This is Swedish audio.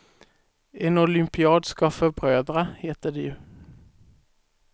En olympiad ska förbrödra, heter det ju.